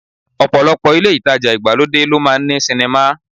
Ọ̀pọ̀lọpọ̀ ilé ìtajà ìgbàlódé ló máa ń ní sinimá